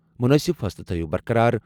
مُنٲسِب فٲصلہٕ تھٲیِو برقرار۔